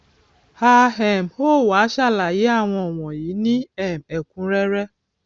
a um ó wá sàlàyé àwọn wọnyí ní um ẹkúnrẹrẹ